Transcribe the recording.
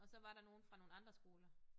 Og så var der nogle fra nogle andre skoler